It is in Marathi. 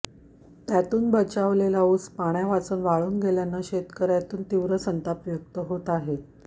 त्यातून बचावलेल्या ऊस पाण्यावाचून वाळून गेल्याने शेतकऱयांतून तीव्र संताप व्यक्त होत आहे